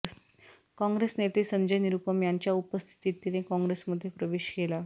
काँग्रेस नेते संजय निरुपम यांच्या उपस्थितीत तिने काँग्रेसमध्ये प्रवेश केला